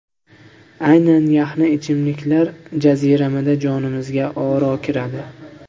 Aynan yaxna ichimliklar jaziramada jonimizga oro kiradi.